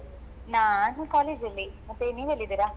ನಾನು college ಅಲ್ಲಿ ಮತ್ತೆ ನೀವ್ ಎಲ್ಲಿದ್ದೀರಾ?